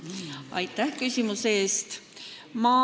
Aitäh küsimuse eest!